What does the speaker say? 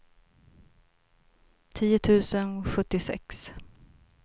tio tusen sjuttiosex